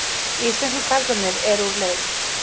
Íslensku karlarnir eru úr leik